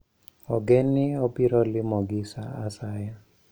Ogen ni obiro limogi sa asaya.